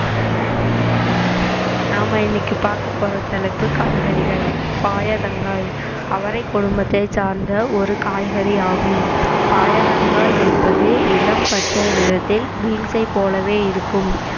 நாம இன்னைக்கு பார்க்கப் போற தலைப்பு காய்கறிகள் பயத்தங்காய் அவரை குடும்பத்தைச் சார்ந்த ஒரு காய்கறி ஆகும் பயத்தங்காய் என்பது இளம் பச்சை நிறத்தில் பீன்சை போலவே இருக்கும்